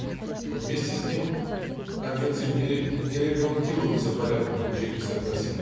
но вместе с тем в конвенции не регламентируется порядок получения согласия